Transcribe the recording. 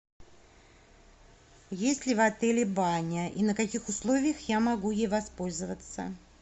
есть ли в отеле баня и на каких условиях я могу ей воспользоваться